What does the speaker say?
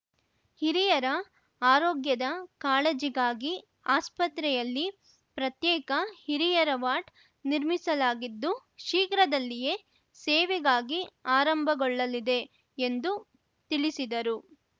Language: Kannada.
ಹಿರಿಯರ ಆರೋಗ್ಯದ ಕಾಳಜಿಗಾಗಿ ಆಸ್ಪತ್ರೆಯಲ್ಲಿ ಪ್ರತ್ಯೇಕ ಹಿರಿಯರ ವಾರ್ಡ್‌ ನಿರ್ಮಿಸಲಾಗಿದ್ದು ಶೀಘ್ರದಲ್ಲಿಯೇ ಸೇವೆಗಾಗಿ ಆರಂಭಗೊಳ್ಳಲಿದೆ ಎಂದು ತಿಳಿಸಿದರು